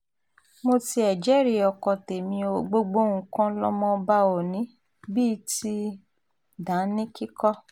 mo tiẹ̀ jẹ́rìí ọkọ tẹ̀mí ò gbogbo nǹkan lọmọ ọba ò ní bíi ti dáníǹkì kọ́